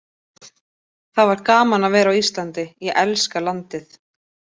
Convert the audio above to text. Það var gaman að vera á Íslandi, ég elska landið.